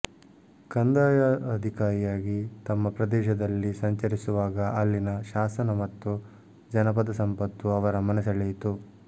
ಕಂದಾಯ ಅಧಿಕಾರಿಯಾಗಿ ತಮ್ಮ ಪ್ರದೇಶದಲ್ಲಿ ಸಂಚರಿಸುವಾಗ ಅಲ್ಲಿನ ಶಾಸನ ಮತ್ತು ಜನಪದ ಸಂಪತ್ತು ಅವರ ಮನಸೆಳೆಯಿತು